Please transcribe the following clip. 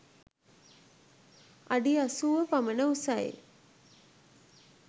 අඩි 80 පමණ උසයි.